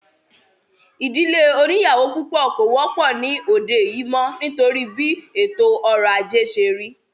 Ìdílé oníyàwó púpọ̀ kò wọ́pọ̀ ní òde yìí mọ́ nítorí bí ètò ọrọ̀ ajé ṣé rí